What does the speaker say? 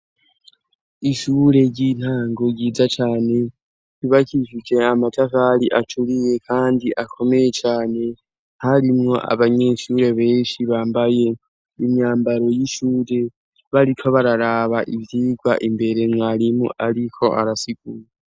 Ishure ry'intango ryiza cane ryubakishije amatafari aturiye, kandi akomeye cane harimwo abanyeshure benshi bambaye imyambaro y'ishure bariko bararaba ivyirwa imbere mwarimu ariko arasigura.